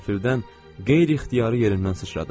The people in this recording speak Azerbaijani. Qəfildən qeyri-ixtiyari yerindən sıçradım.